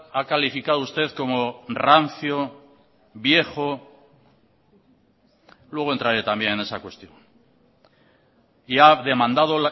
ha calificado usted como rancio viejo luego entraré también en esa cuestión y ha demandado